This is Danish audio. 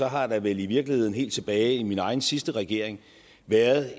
har der vel i virkeligheden helt tilbage i min egen sidste regering været